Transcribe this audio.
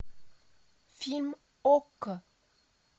фильм окко